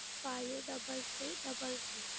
five double three double three.